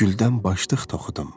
Güldən başlıq toxudum.